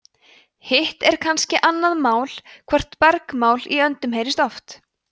hitt er kannski annað mál hvort bergmál í öndum heyrist oft